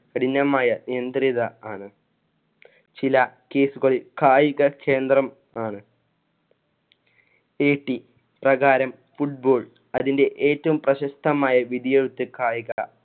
കഠിനമായ നിയന്ത്രിത ആണ്. ചില case കളില്‍ കായിക കേന്ദ്രം ആണ്. പ്രകാരം football അതിന്‍ടെ ഏറ്റവും പ്രശസ്തമായ വിധിയെഴുത്ത് കായിക